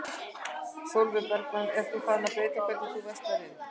Sólveig Bergmann: Ert þú farin að breyta hvernig þú verslar inn?